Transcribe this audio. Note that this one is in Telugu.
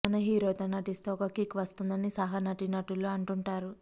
మన హీరోతో నటిస్తే ఒక కిక్ వస్తుందని సహా నటీనటులు అంటుంటారు